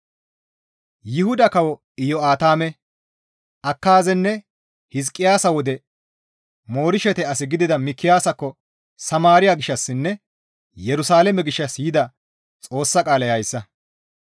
Yuhuda kawo Iyo7aatame, Akaazenne Hizqiyaasa wode Moreshete as gidida Mikiyaasakko Samaariya gishshassinne Yerusalaame gishshas yida Xoossa qaalay hayssa,